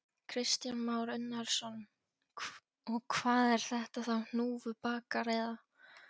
Kristján Már Unnarsson: Og hvað er þetta þá hnúfubakar eða?